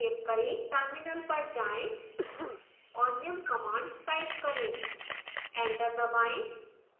terminal पर जाएं और निम्न command type करें एंटर दबाएं